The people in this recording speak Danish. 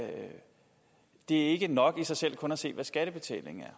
det ikke er nok i sig selv kun at se hvad skattebetalingen